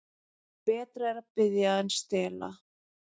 Betra er að biðja en stela.